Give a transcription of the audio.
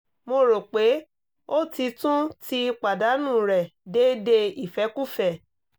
mo ro pe o ti tun ti padanu rẹ deede ifẹkufẹ